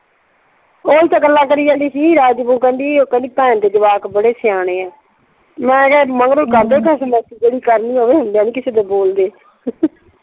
ਓਹੀ ਤੇ ਗੱਲਾਂ ਕਰੀ ਜਾਂਦੀ ਸੀ ਰਾਜ ਦੀ ਬਹੂ ਕਹਿੰਦੀ, ਕਹਿੰਦੀ ਭੈਣ ਦੇ ਜਵਾਕ ਬੜੇ ਸਿਆਣੇ ਆ। ਮੈਂ ਕਿਹਾ ਮਗਰੋਂ ਕਰਦੇ ਖ਼ਸਮ ਜਿਹੜੀ ਕਰਨੀ ਹੋਵੇ ਹੁੰਦਿਆਂ ਨਈਂ ਕਿਸੇ ਦੇ ਬੋਲਦੇ।